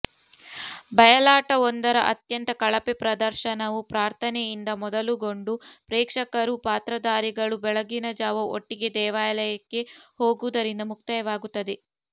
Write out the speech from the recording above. ಬಯಲಾಟವೊಂದರ ಅತ್ಯಂತ ಕಳಪೆ ಪ್ರದರ್ಶನವೂ ಪ್ರಾರ್ಥನೆಯಿಂದ ಮೊದಲುಗೊಂಡು ಪ್ರೇಕ್ಷಕರೂ ಪಾತ್ರಧಾರಿಗಳೂ ಬೆಳಗಿನಜಾವ ಒಟ್ಟಿಗೆ ದೇವಾಲಯಕ್ಕೆ ಹೋಗುವುದರಿಂದ ಮುಕ್ತಾಯವಾಗುತ್ತದೆ